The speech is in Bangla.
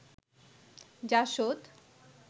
জাসদ